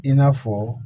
I n'a fɔ